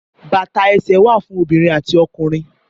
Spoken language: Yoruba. Bàtà ẹsẹ wa fún obiririn ati ọkunrin.